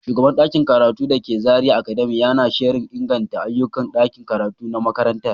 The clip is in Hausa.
Shugaban ɗakin karatu da ke Zariya academy yana shirin inganta ayyukan ɗakin karatu na makarantar.